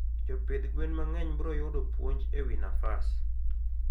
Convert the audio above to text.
Jopidh gwen mangeny bro yudo puonj ewi nafas